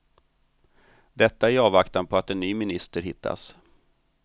Detta i avvaktan på att en ny minister hittas.